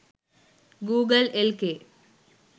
google lk